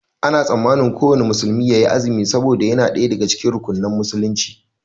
Ana tsammanin kuwanna musulmi yayi azumi saboda yana ɗaya daga cikin rukunan musulunci